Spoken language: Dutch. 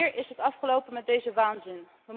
Wanneer is het afgelpen met deze waanzin?